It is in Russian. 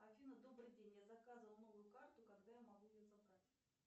афина добрый день я заказывала новую карту когда я могу ее забрать